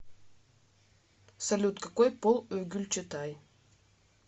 салют какой пол у гюльчатай